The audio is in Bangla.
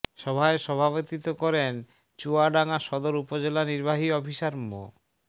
সভায় সভাপতিত্ব করেন চুয়াডাঙ্গা সদর উপজেলা নির্বাহী অফিসার মো